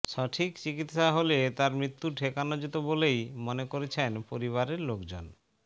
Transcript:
সঠিক চিকিৎসা হলে তাঁর মৃত্যু ঠেকানো যেত বলেই মনে করছেন পরিবারের লোকজন